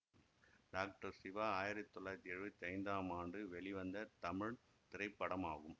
doctor Siva ஆயிரத்தி தொள்ளாயிரத்தி எழுவத்தி ஐந்தாம் ஆண்டு வெளிவந்த தமிழ் திரைப்படமாகும்